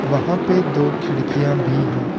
वहां पे दो खिड़कियां भी हैं।